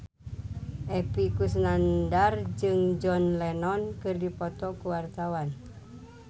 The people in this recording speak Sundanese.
Epy Kusnandar jeung John Lennon keur dipoto ku wartawan